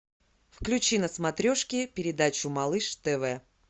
включи на смотрешке передачу малыш тв